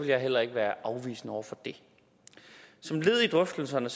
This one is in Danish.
jeg heller ikke være afvisende over for det som led i drøftelserne